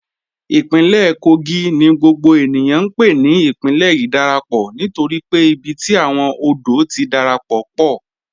Ìpínlẹ̀ Kógì ni gbogbo ènìyàn n pè ní ìpínlẹ̀ ìdárápọ́ nítorí pé ìbí tí awọn òdò ti dárápọ́ pọ.